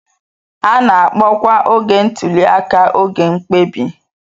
A na-akpọkwa oge ntuli aka oge mkpebi.